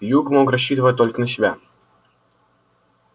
юг мог рассчитывать только на себя